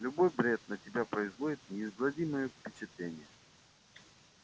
любой бред на тебя производит неизгладимое впечатление